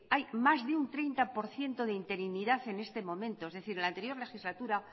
hay más de un treinta por ciento de interinidad en este momento es decir en la anterior legislatura